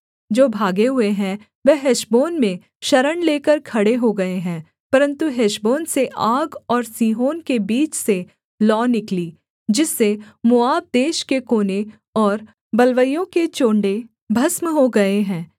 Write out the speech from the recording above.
जो भागे हुए हैं वह हेशबोन में शरण लेकर खड़े हो गए हैं परन्तु हेशबोन से आग और सीहोन के बीच से लौ निकली जिससे मोआब देश के कोने और बलवैयों के चोण्डे भस्म हो गए हैं